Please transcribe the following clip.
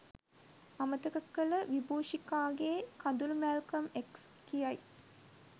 අමතක කළ විබූෂිකාගේ කඳුළු මැල්කම් එක්ස් කියයි.